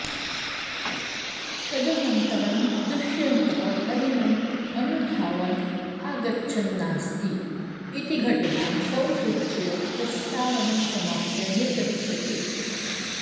तदनन्तरं दुष्यन्तः हरिणम् अनुधावन् आगच्छन्नास्ति इति घटनां संसूच्य प्रस्तावनं समाप्य निर्गच्छति